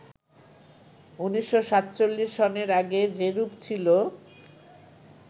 ১৯৪৭ সনের আগে যেরূপ ছিল